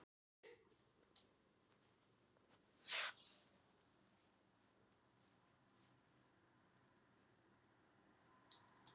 Hrund Þórsdóttir: Hver er þín skoðun á hvalveiðum?